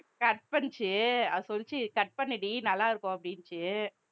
cut பண்ணிச்சு அது சொல்லுச்சு cut பண்ணுடி நல்லா இருக்கும் அப்படின்னுச்சு